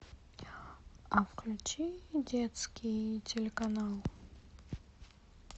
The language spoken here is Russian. а включи детский телеканал